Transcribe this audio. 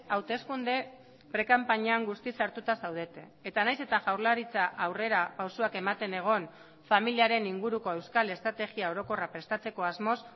hauteskunde prekanpainan guztiz sartuta zaudete eta nahiz eta jaurlaritza aurrerapausoak ematen egon familiaren inguruko euskal estrategia orokorra prestatzeko asmoz